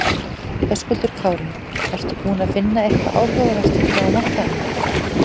Höskuldur Kári: Ertu búinn að finna eitthvað áhugavert hérna á markaðnum?